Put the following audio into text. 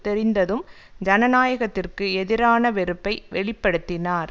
தெரிந்ததும் ஜனநாயகத்திற்கு எதிரான வெறுப்பை வெளி படுத்தினார்